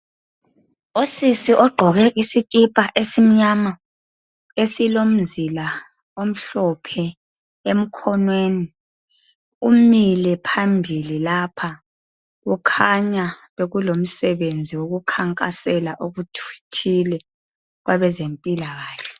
Qsisi ogqoke isikipha esimnyama, esilomzila omhlophe emkhoneni, umile phambili lapha, kukhanya bekulomsenzi okukhangasela ukuthile okwabezemphilakahle.